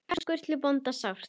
Við söknum Sturlu bónda sárt.